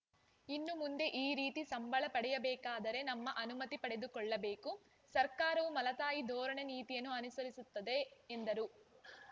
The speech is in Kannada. ಇನ್ನು ಮುಂದೆ ಈ ರೀತಿ ಸಂಬಳ ಪಡೆಯಬೇಕಾದರೆ ನಮ್ಮ ಅನುಮತಿ ಪಡೆದುಕೊಳ್ಳಬೇಕು ಸರ್ಕಾರವು ಮಲತಾಯಿ ಧೋರಣೆ ನೀತಿಯನ್ನು ಅನುಸರಿಸುತ್ತದೆ ಎಂದರು